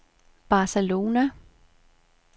Barcelona